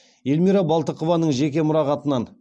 эльмира балтықованың жеке мұрағатынан